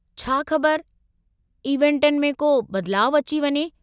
छा ख़बर इवेंटनि में को बदिलाउ अची वञे।